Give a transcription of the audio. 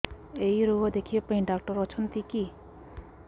ଏଇ ରୋଗ ଦେଖିବା ପାଇଁ ଡ଼ାକ୍ତର ଅଛନ୍ତି କି